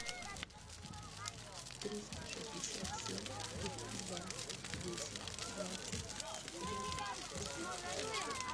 триста шестьдесят семь два десять двадцать четырнадцать шестьсот